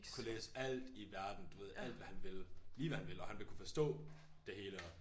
Kunne læse alt i verden du ved alt hvad han ville lige hvad han ville og han vil kunne forstå det hele og